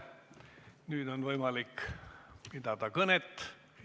Nüüd on võimalik pidada kõnet.